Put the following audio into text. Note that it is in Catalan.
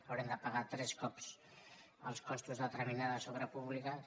haurem de pagar tres cops els costos de determinades obres públiques